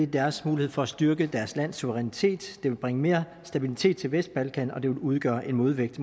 deres mulighed for at styrke deres lands suverænitet det vil bringe mere stabilitet til vestbalkan og det vil udgøre en modvægt